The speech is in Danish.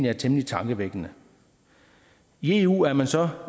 er temmelig tankevækkende i eu er man så